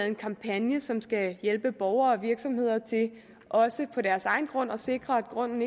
en kampagne som skal hjælpe borgere og virksomheder til også på deres egen grund at sikre at grunden